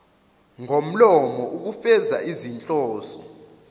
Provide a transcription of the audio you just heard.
ngomlomo ukufeza izinhloso